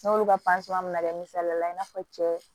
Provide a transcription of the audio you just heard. N'olu ka mana kɛ misaliya la i n'a fɔ cɛ